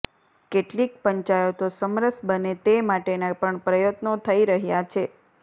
કેટલીક પંચાયતો સમરસ બને તે માટેના પણ પ્રયત્નો થઈ રહ્યા છે